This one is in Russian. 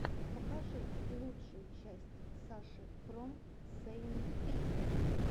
покажи лучшую часть саши фром сэйнт пи